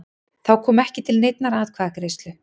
Þá kom ekki til neinnar atkvæðagreiðslu